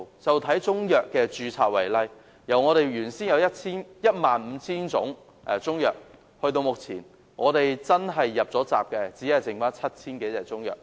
以中藥的註冊為例，原先有 15,000 種中藥，但至今"入閘"的只餘下 7,000 多種。